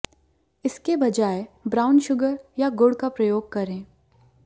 इसके बजाय brown sugar या गुड़ का प्रयोग करें